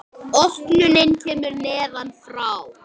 Opnunin kemur neðan frá.